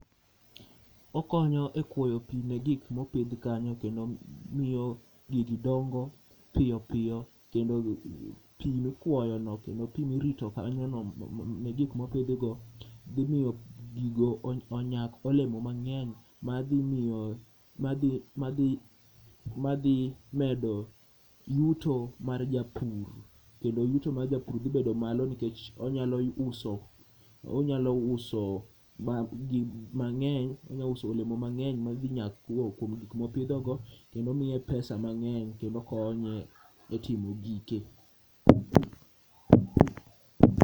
Okonyo e kwoyo pi ne gik mopidh kanyo kendo miyo gigi dongo piyo piyo. Kendo pi mikwoyo no kendo pi mirito kanyo no ne gik mopidhi go dhi miyo gigo onyak olemo mang'eny madhi medo yuto mar japur. Kendo yuto mar japur dhi bedo malo nikech onyalo uso, onyalo uso ba gi mang'eny, onyauso olemo mang'eny ma gi nyakuo kuom gik mopidhogo. Kendo miye pesa mang'eny kendo konye e timo gike.